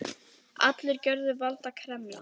Allar gjörðir valda karma.